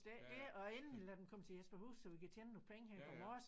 Det er ikke det og endelig lad dem komme til Jesperhus så vi kan tjene nogle penge her på Mors